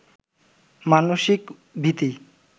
মানসিক ভীতিই